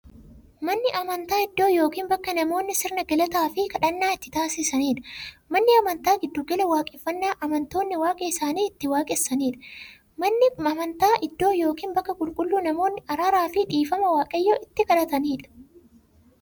Manni amantaa iddoo yookiin bakka namoonni sirna galataafi kadhannaa itti taasisaniidha. Manni amantaa giddu gala waaqeffannaa amantoonni waaqa isaanii itti waaqessanidha. Manni amantaa iddoo yookiin bakka qulqulluu namoonni araaraafi dhiifama waaqayyoon itti kadhatanidha.